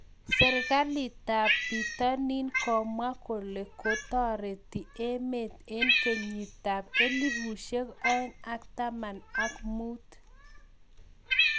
Serikalitab pitonin komwa koletareti emet eng kenyitab elibushek aeng ak taman ak muut